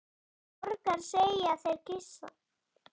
Og borgar, segja þeir og kyssa.